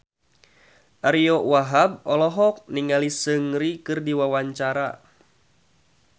Ariyo Wahab olohok ningali Seungri keur diwawancara